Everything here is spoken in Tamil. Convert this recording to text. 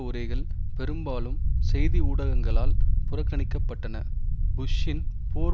உரைகள் பெரும்பாலும் செய்தி ஊடகங்களால் புறக்கணிக்கப்பட்டன புஷ்ஷின் போர்